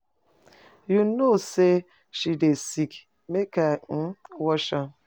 You know say she dey sick, make I um wash am.